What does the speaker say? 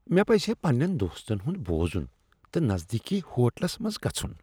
مےٚ پزِہے پننین دوستن ہُند بوزُن تہٕ نزدیكی ہوٹلس منٛز گژھن۔